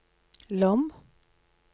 Lom